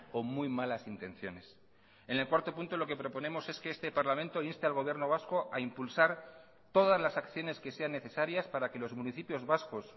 o muy malas intenciones en el cuarto punto lo que proponemos es que este parlamento inste al gobierno vasco a impulsar todas las acciones que sean necesarias para que los municipios vascos